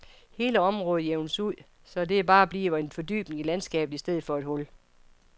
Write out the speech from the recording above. Hele området jævnes ud, så at det bare bliver en fordybning i landskabet i stedet for et hul.